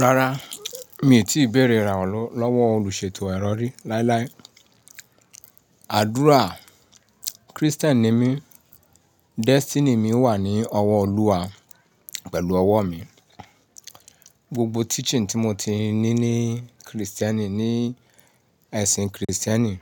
Rárá mi ò tí bẹ̀rẹ̀ ìràwọ̀ lọ́wọ́ olùṣètò ìrọ̀rí láíláí. Àdúrà, Kristẹni ni mí, destiny mi wà ní ọwọ́ Olúwa pẹ̀lú ọwọ́ mi. Gbogbo teaching tí mo ti ní ní Kristẹni, ní ẹ̀sìn Kristẹni,